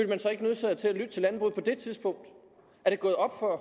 man sig ikke nødsaget til at lytte til landbruget på det tidspunkt er det gået op for